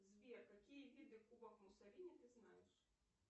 сбер какие виды кубок муссолини ты знаешь